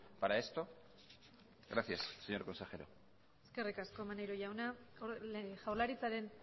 para esto gracias señor consejero eskerrik asko maneiro jaunak jaurlaritzaren